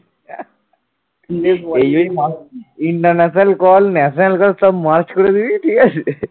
international call national call সব merge করে দিবি ঠিক আছে